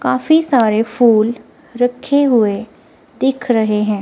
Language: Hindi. काफी सारे फूल रखे हुए दिख रहे हैं।